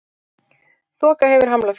Þoka hefur hamlað flugi